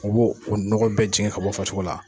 O b'o, o nɔgɔ bɛɛ jigin ka bɔ farisoko la.